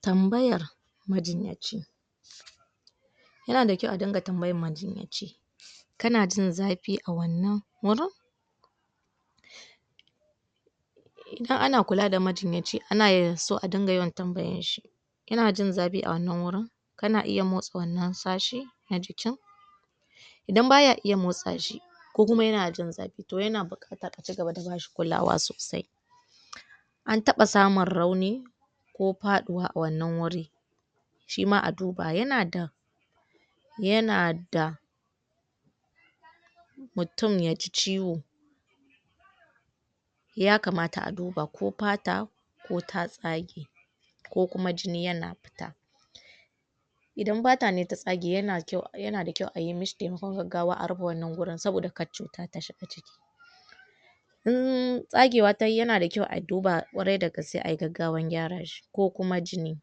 Tambayar majinyaci yana da kyau a ringa tambayar majinyaci. Kana jin zafi a wannan wurin? Idan ana kula da majinyaci, ana so a dinga yawan tambayar shi Kana ji zafi a wannan wurin? Kana iya motsa wannan sashen na jikin? Idan ba ya iya motsa shi ko kuma yana jin zafi to yaan buƙatar a ci gaba da ba shi kulawa sosai. An taɓa samun rauni ko faɗuwa a wannan wuri shi ma a duba. Yana da yana da mutum ya ji ciwo ya kamata a duba, ko fata ko ta tsage ko kuma jini yana fita Idan fata ne ta tsage yana da kyau a yi mishi taimakon gaggawa a rufe wannan wurin saboda kar cuta ta shiga In tsagewa ta yi, yana da kyau a duba ƙwarai da gaske a yi gaggawan gyara shi, ko kuma jini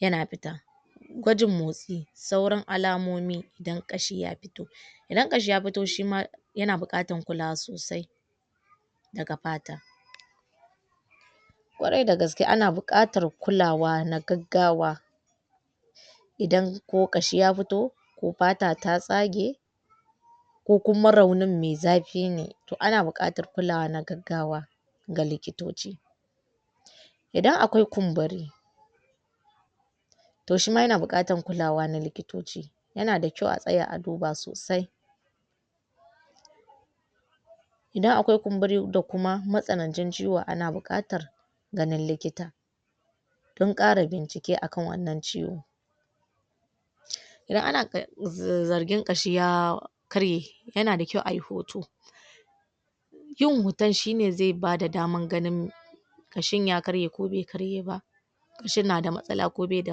yana fita Gwajin motsi: sauran alamomi, idan ƙashi ya fito. Idan ƙashi ya fito shi ma yana buƙatar kulawa sosai. daga fata Ƙwarai da gaske ana buƙatar kulawa na gaggawa don ko ƙashi ya fito ko fata ta tsage ko kuma raunin mai zafi ne, to ana buƙatar kulawa na gaggawa na likitoci Idan akwai kumburi, to shi ma yana buƙatar kulawa na likitoci. Yana da kyau a tsaya a duba sosai Idan akwai kumburi da kuma matsananci ciwo, ana buƙatar ganin likita don ƙara bincike a kan wannan ciwo Idan ana zargin ƙashi ya karye, yana da kyau a yi hoto yin hoton shi ne zai ba da damar ganin shin ya karye ko bai karye ba Shin na da matsala ko bai da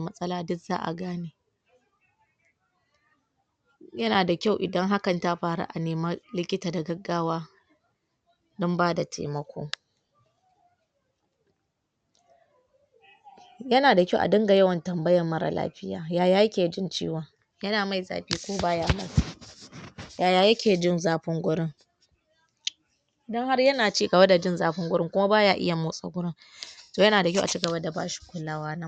matsala--duk za a gane Yana da kyau idan hakan ta faru a nemi likita da gaggawa don ba da taimako Yana da kyau a dinga yawan tambayar marar lafiya. Yaya yake jin ciwon? Yana mai zafi ko ba ya mai? Yaya yake jin zafin wurin?